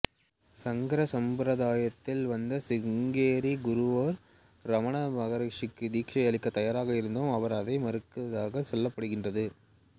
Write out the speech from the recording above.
சங்கர செம்பெருந்தாயத்தில் வந்த சிருங்கேரி குருவொருவர் இரமண மகரிஷிக்குத் தீட்சை அளிக்கத் தயாராக இருந்தும் அவர் அதை மறுத்ததாகச் சொல்லப்படுகின்றது